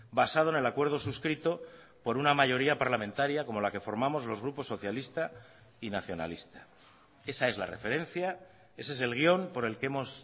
basado en el acuerdo suscrito por una mayoría parlamentaria como la que formamos los grupos socialista y nacionalista esa es la referencia ese es el guión por el que hemos